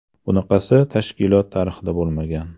Bunaqasi tashkilot tarixida bo‘lmagan.